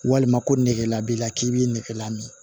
Walima ko nɛgɛ la b'i la k'i b'i nɛgɛ lamin